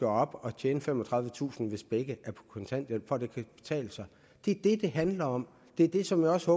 op og tjene femogtredivetusind kr hvis begge er på kontanthjælp for at det kan betale sig det er det det handler om det er det som jeg også